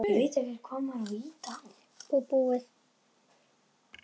Og búið.